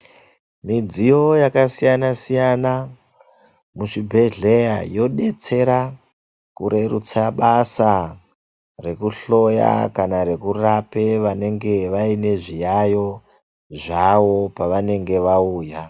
Midziyo yakasiyana siyana muzvibhehlera yobetsera kurerutse basa rekuhloya kana rokurape vanenge vaine zviyayo zvavo pavanenge vauya.